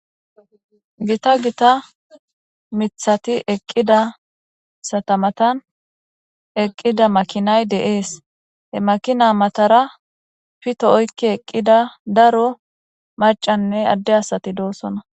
gita gita mithati eqqidasata matan eqqida makinay de'ees he makina matara pito oykki eqqida daro macanne adde asati doossona